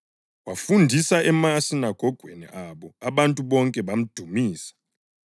Wafundisa emasinagogweni abo, abantu bonke bamdumisa.